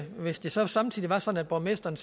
hvis det så samtidig var sådan at borgmesteren